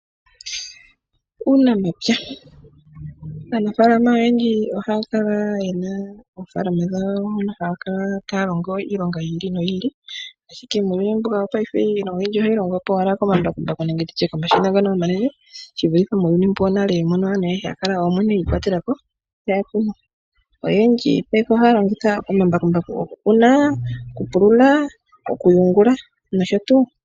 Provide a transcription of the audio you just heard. Aanafalama oyendji ohaa kala yena oofalama dhawo moka haya kala taa longo iilonga yi ili noyi ili. Ashike muuyuni mbuka wopaife iilonga oyindji ohayi longwa po owala komambakumbaku nenge nditye komashina ngono omanene shi vulithe muuyuni wonale mono aantu kwali haya kala mwene yiikwatela po taya kunu. Oyendji paife ohaa longitha omambakumbaku okukuna, okupulula, okuyungula nosho tuu.